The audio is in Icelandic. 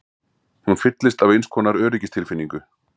Hún fyllist af einskonar öryggistilfinningu.